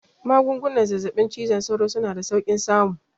Magungunan zazzaɓin cizon sauro suna da saukin samu